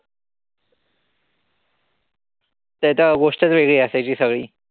ते त गोष्टच वेगळी असायची सगळी.